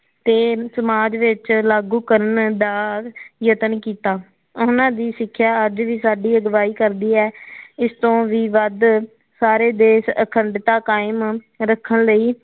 ਕੇ ਸਮਾਜ ਵਿਚ ਲਾਗੂ ਕਰਨ ਦਾ ਯਤਨ ਕੀਤਾ ਉਹਨਾ ਦੀ ਸਿਖਿਆ ਅੱਜ ਵੀ ਸਾਡੀ ਅਗਵਾਈ ਕਰਦੀ ਹੈ ਇਸ ਤੋ ਵਿ ਵੱਧ ਸਾਰੇ ਦੇਸ਼ ਅਖੱਡਤਾ ਕਾਇਮ ਰੱਖਣ ਲਈ